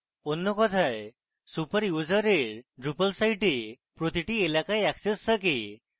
অন্য কথায় super ইউজারের drupal site প্রতিটি এলাকায় access থাকে